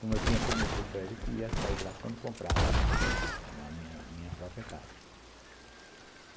como eu tinha prometido para ele que ia sair lá quando comprasse a a minha própria casa.